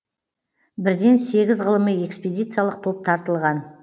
бірден сегіз ғылыми экспедициялық топ тартылған